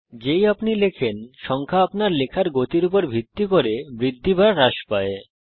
যেই আপনি লেখেন সংখ্যা আপনার লেখার গতির উপর ভিত্তি করে বৃদ্ধি বা হ্রাস পায়